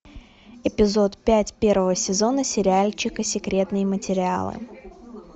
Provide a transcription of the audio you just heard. эпизод пять первого сезона сериальчика секретные материалы